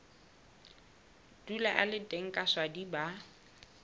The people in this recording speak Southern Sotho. dula a le teng kaswadi ba